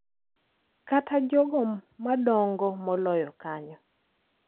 Kata jogo madongo moloyo kanyo.